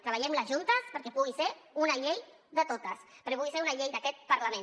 treballem les juntes perquè pugui ser una llei de totes perquè pugui ser una llei d’aquest parlament